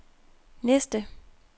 næste